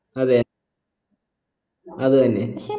അതെ അത് തന്നെ